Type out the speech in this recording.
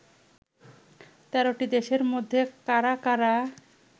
১৩টি দেশের মধ্যে কারা কারা